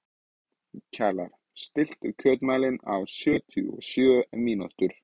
Kjalar, stilltu tímamælinn á sjötíu og sjö mínútur.